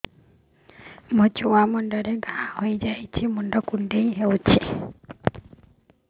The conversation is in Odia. ମୋ ଛୁଆ ମୁଣ୍ଡରେ ଘାଆ ହୋଇଯାଇଛି ମୁଣ୍ଡ କୁଣ୍ଡେଇ ହେଉଛି